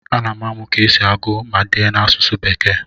ana m amụ ka esi agụ ma dee n'asụsụ bekee